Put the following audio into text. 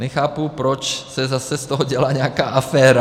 Nechápu, proč se z toho zase dělá nějaká aféra.